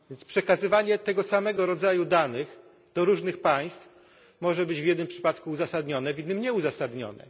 Przekazywanie tego samego rodzaju danych do różnych państw może więc być w jednym przypadku uzasadnione, w innym nieuzasadnione.